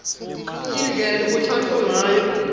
indlela lekutsatfwa ngayo